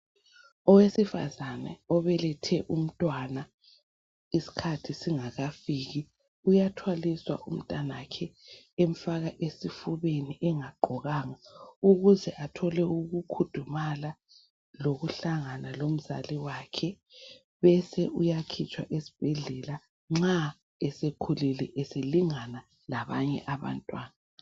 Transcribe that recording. Owesifazana obelethe umntwana isikhathi singakafiki uyathwaliswa umntanakhe emfaka esifubeni engagqokanga ukuze athole ukukhudumala lokuhlangana lomzali wakhe. Uyakhitshwa esibhedlela sekhulile selingana labanye abantwana